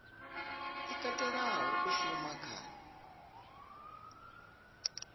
i katelaho u shuma kha